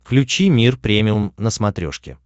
включи мир премиум на смотрешке